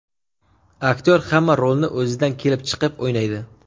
Aktyor hamma rolni o‘zidan kelib chiqib o‘ynaydi.